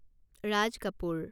Raj Kapoor